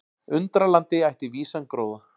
Undralandi ætti vísan gróða.